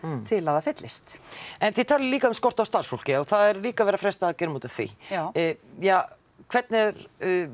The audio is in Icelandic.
til að það fyllist en þið talið líka um skort á starfsfólki og það er líka verið að fresta aðgerðum út af því já ja hvernig